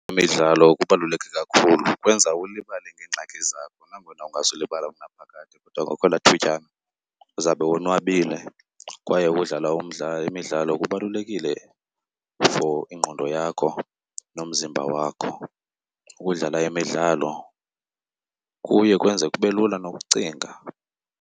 Imidlalo kubaluleke kakhulu ikwenza ulibale ngeengxaki zakho, nangona ungazulibala unaphakade kodwa ngokwelaa thutyana uzawube wonwabile. Kwaye ukudlala imidlalo kubalulekile for ingqondo yakho nomzimba wakho. Ukudlala imidlalo kuye kwenze kube lula nokucinga.